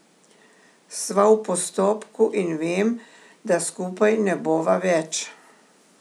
Sva v postopku in vem, da skupaj ne bova več.